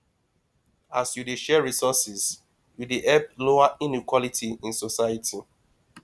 as yu dey share resources yu dey help lower inequality in society